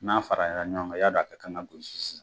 N'a faraya la ɲɔgɔn kan, y'a don a ka kan ka gosi sisan.